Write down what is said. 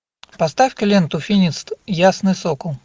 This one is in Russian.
поставь ка ленту финист ясный сокол